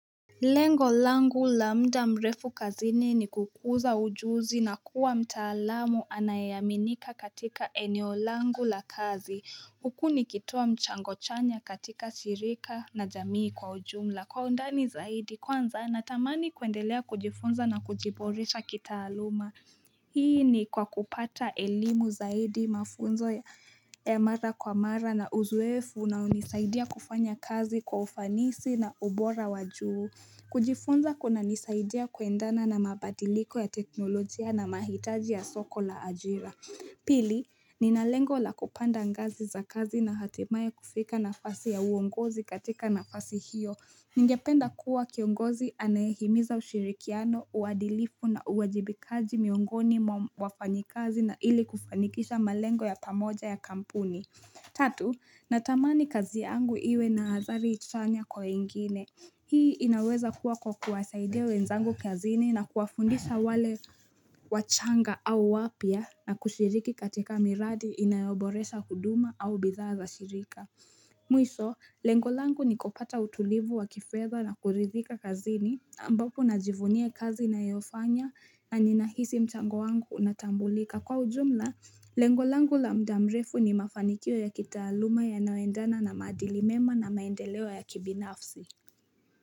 Lengo langu la muda mrefu kazini ni kukuza ujuzi na kuwa mtaalamu anayeaminika katika eneo langu la kazi huku nikitoa mchango chanya katika shirika na jamii kwa ujumla. Kwa undani zaidi kwanza natamani kuendelea kujifunza na kujiboresha kitaaluma. Hii ni kwa kupata elimu zaidi mafunzo ya mara kwa mara na uzoefu na hunisaidia kufanya kazi kwa ufanisi na ubora wa juu. Kujifunza kunanisaidia kuendana na mabadiliko ya teknolojia na mahitaji ya soko la ajira. Pili, nina lengo la kupanda ngazi za kazi na hatimaye kufika nafasi ya uongozi katika nafasi hiyo. Ningependa kuwa kiongozi anayehimiza ushirikiano, uadilifu na uwajibikaji miongoni mwa wafanyikazi na ili kufanikisha malengo ya pamoja ya kampuni Tatu, natamani kazi yangu iwe na athari chanya kwa wengine. Hii inaweza kuwa kwa kuwasaidia wenzangu kazini na kuwafundisha wale wachanga au wapya na kushiriki katika miradi inayoboresha huduma au bidhaa za shirika. Mwisho, lengo langu ni kupata utulivu wa kifedha na kuridhika kazini ambapo najivunia kazi nayofanya na ninahisi mchango wangu unatambulika. Kwa ujumla, lengo langu la muda mrefu ni mafanikio ya kitaaluma yanayoendana na maadili mema na maendeleo ya kibinafsi.